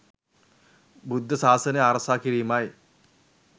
බුද්ධ සාසනය ආරක්ෂා කිරීමයි.